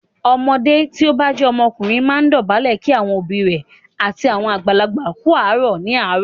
Ọmọdé tí o bá jẹ́ ọkùnrin máa ń dọ̀bálẹ̀ kí àwọn òbí rẹ̀ àti àwọn àgbàlagbà kú àárọ̀ ní àárọ̀.